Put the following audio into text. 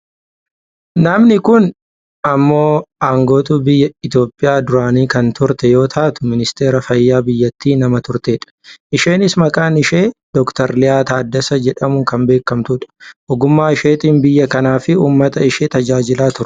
Namni kun ammoo angaatuu biyya Itoophiyaa duraanii kan turte yoo taatu ministeera fayyaa biyyattii nama turtedha. Isheenis maqaan ishee Dr Liyaa Taaddesee jedhamuun nama beekamtudha. Ogummaa isheetiin biyya kanaafi uummata ishee tajaajilaa turte.